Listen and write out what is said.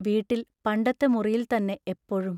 വീട്ടിൽ പണ്ടത്തെ മുറിയിൽത്തന്നെ എപ്പോഴും....